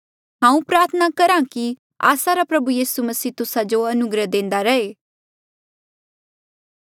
हांऊँ प्रार्थना करहा कि आस्सा रा प्रभु यीसू मसीह तुस्सा जो अनुग्रह देंदा रैहे